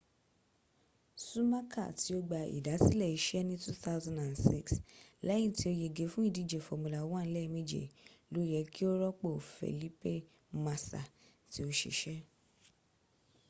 sumaka ti o gba idasile ise ni 2006 leyin ti o yege fun idije formula 1 lemeje lo ye ki o ropo felipe masa ti o sise